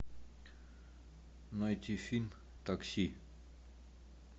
найти фильм такси